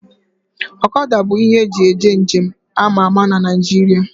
Ọkada bụ ihe eji eje nje m ama ama na Naijiria